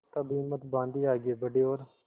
तब हिम्मत बॉँधी आगे बड़े और